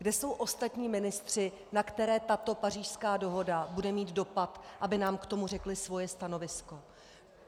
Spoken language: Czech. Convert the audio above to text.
Kde jsou ostatní ministři, na které tato Pařížská dohoda bude mít dopad, aby nám k tomu řekli svoje stanovisko?